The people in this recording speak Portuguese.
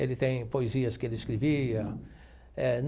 Ele tem poesias que ele escrevia eh.